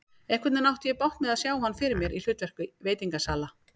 Einhvernveginn átti ég bágt með að sjá hann fyrir mér í hlutverki veitingasala.